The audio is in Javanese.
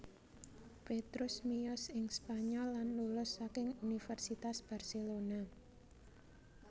Petrus miyos ing Spanyol lan lulus saking Universitas Barcelona